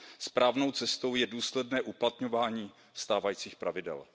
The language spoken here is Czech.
Správnou cestou je důsledné uplatňování stávajících pravidel.